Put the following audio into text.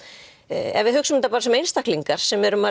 ef við hugsum þetta bara sem einstaklingar sem